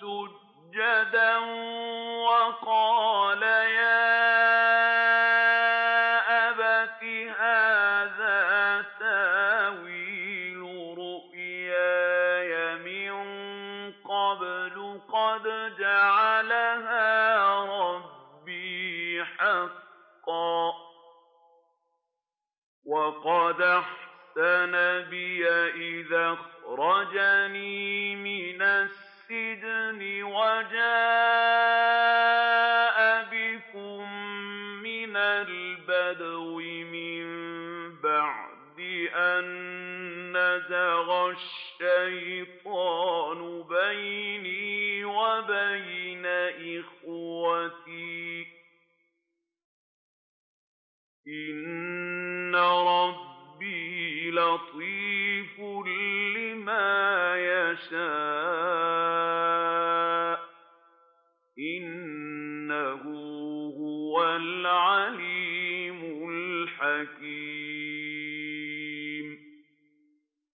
سُجَّدًا ۖ وَقَالَ يَا أَبَتِ هَٰذَا تَأْوِيلُ رُؤْيَايَ مِن قَبْلُ قَدْ جَعَلَهَا رَبِّي حَقًّا ۖ وَقَدْ أَحْسَنَ بِي إِذْ أَخْرَجَنِي مِنَ السِّجْنِ وَجَاءَ بِكُم مِّنَ الْبَدْوِ مِن بَعْدِ أَن نَّزَغَ الشَّيْطَانُ بَيْنِي وَبَيْنَ إِخْوَتِي ۚ إِنَّ رَبِّي لَطِيفٌ لِّمَا يَشَاءُ ۚ إِنَّهُ هُوَ الْعَلِيمُ الْحَكِيمُ